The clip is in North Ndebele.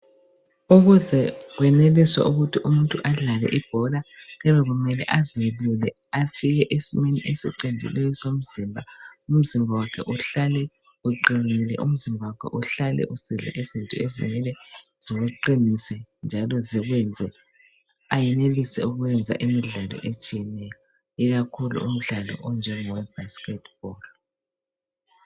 Ukuze kweneliswe ukuthi umuntu adlale ibhola, kuyabe kumele azelule afike esimeni esiqondileyo somzimba. Umzimba wakhe uhlale uqinile, umzimba wakhe uhlale usidla izinto ezimele ziwuqinise njalo zikwenze ayenelise ukwenza imidlalo etshiyeneyo ikakhulu umdlalo onjengowe-basketball.